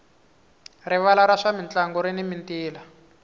rivala ra swa mintlangu rini mintila